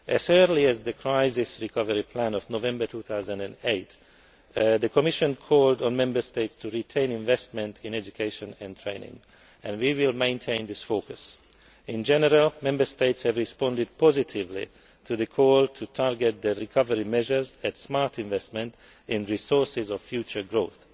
As early as the crisis recovery plan of November 2008, the Commission called on Member States to retain investment in education and training, and we will maintain this focus. In general, Member States have responded positively to the call to target the recovery measures at smart investment in resources of future growth.